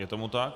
Je tomu tak.